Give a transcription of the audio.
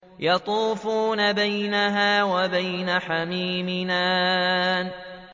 يَطُوفُونَ بَيْنَهَا وَبَيْنَ حَمِيمٍ آنٍ